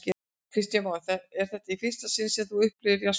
Kristján Már: Er þetta í fyrsta sinn sem þú upplifir jarðskjálfta?